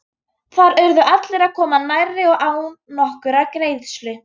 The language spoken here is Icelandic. Þar urðu allir að koma nærri og án nokkurrar greiðslu.